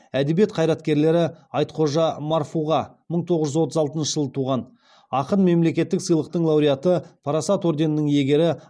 әдебиет қайраткерлері айтхожа марфуға мың тоғыз жүз отыз алтыншы жылы туған ақын мемлекеттік сыйлықтың лауреаты парасат орденінің иегері